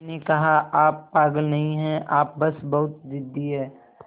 मैंने कहा आप पागल नहीं हैं आप बस बहुत ज़िद्दी हैं